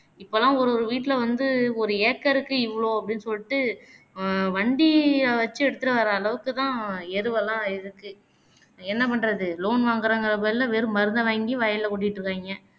இப்போலாம் ஒரு ஒரு வீட்டில வந்து ஒரு acre க்கு இவ்வளோ அப்படின்னு சொல்லிட்டு அஹ் வண்டிய வச்சு எதுத்துட்டு வர்ற அளவுக்கு தான் எருவெல்லாம் இருக்கு என்ன பண்ணுறது loan வாங்குறாங்கங்குற பேருல வெறும் மருந்த வாங்கி வயல்ல கொட்டீட்டு இருக்காங்கே